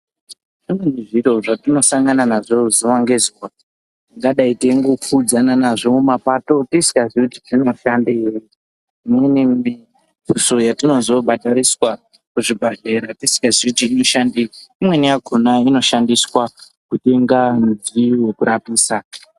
Zvimweni zviro zvatinosangana nazvo zuva ngezuva tingadai teingopfudzana nazvo mumapato tisingazii kuti dzinoshandei .Imweni mituso yetinozobhadhariswa kuzvibhedhlera tisikazii kuti inoshandei. Imweni yakona inoshandiswa kutenga midziyo yekurapisa.